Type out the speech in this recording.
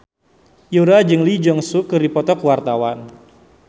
Yura jeung Lee Jeong Suk keur dipoto ku wartawan